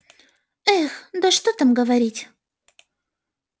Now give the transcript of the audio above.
эх да что там говорить